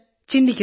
ചിന്തിക്കുന്നു